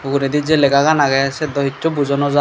uguredi jei legagan agey siyot dow hissu buja nojai.